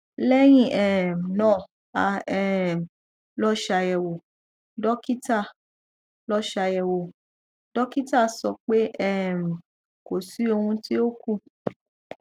lẹyìn um náà a um lọ ṣàyẹwò dókítà lọ ṣàyẹwò dókítà sọ pé um kò sí ohun tí ó kù